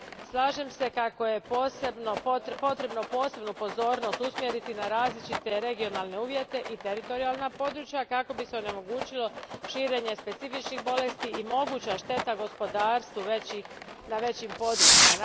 Slažem se kako je potrebno posebnu pozornost usmjeriti na različite regionalne uvjete i teritorijalna područja kako bi se onemogućilo širenje specifičnih bolesti i moguća šteta gospodarstvu na većim područjima.